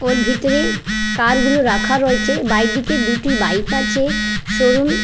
ওর ভিতরে কার গুলো রাখা রয়েছে বাইরের দিকে দুটি বাইক আছে সরু--